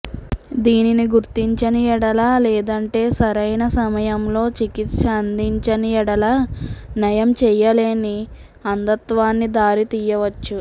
దీనిని గుర్తించని ఎడల లేదంటే సరైన సమయంలో చికిత్స అందించని ఎడల నయం చేయలేని అంధత్వానికి దారి తీయవచ్చు